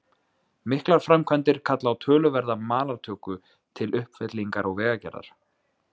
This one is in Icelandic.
Miklar framkvæmdir kalla á töluverða malartöku til uppfyllingar og vegagerðar.